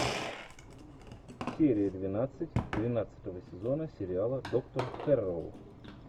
серия двенадцать двенадцатого сезона сериала доктор хэрроу